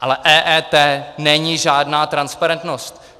Ale EET není žádná transparentnost.